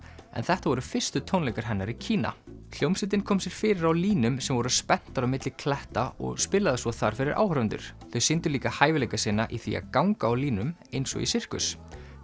en þetta voru fyrstu tónleikar hennar í Kína hljómsveitin kom sér fyrir á línum sem voru spenntar á milli kletta og spilaði svo þar fyrir áhorfendur þau sýndu líka hæfileika sína í því að ganga á línum eins og í sirkus